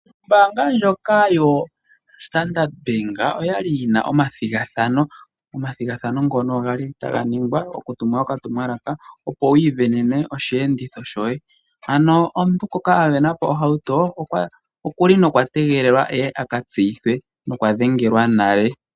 Ombaanga ndjoka yo Standard Bank oyali yina omathigathano, omathigathano ngono gali taga ningwa oku tuma okatumwalaka, opo wu isindanene osheenditho shoye, ano musindano ngoka a sindana po ohauto, okuli nokwa nokwa tegelelwa aka tseyithwe, okwa dhengelwa nale.